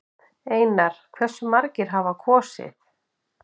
Einar: Hversu margir hafa kosið?